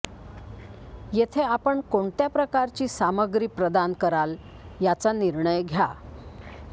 येथे आपण कोणत्या प्रकारची सामग्री प्रदान कराल याचा निर्णय घ्या